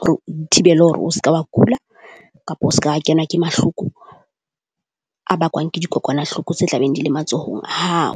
hore o ithibele hore o ske wa kula kapa o ska kenwa ke mahloko a bakwang ke dikokwanahloko tse tla beng di le matsohong a hao.